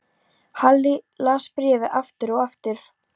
Halli las bréfið aftur og aftur.